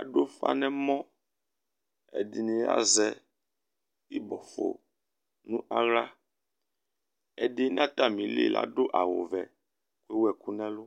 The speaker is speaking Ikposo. Adu ʋfa nʋ ɛmɔ Ɛdiní azɛ ibɔfo nʋ aɣla Ɛdí nʋ atami li ladu awʋ vɛ kʋ lewu ɛkʋ nʋ ɛlu